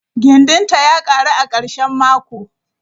gindinta ya karu a karshen mako.